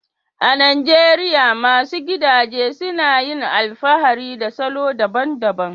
A Najeriya, masu gidaje suna yin alfahari da salo daban-daban